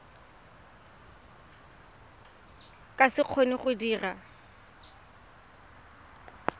ka se kgone go dira